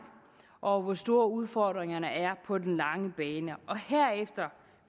og hvor store udfordringerne er på den lange bane og herefter